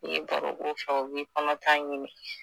I ye baro k'u fɛ u b'i kɔnɔta ɲini